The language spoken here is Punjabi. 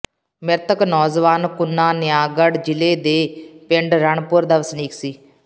ਮ੍ਰਿਤਕ ਨੌਜਵਾਨ ਕੁਨਾ ਨਿਆਗੜ੍ਹ ਜ਼ਿਲ੍ਹੇ ਦੇ ਪਿੰਡ ਰਣਪੁਰ ਦਾ ਵਸਨੀਕ ਸੀ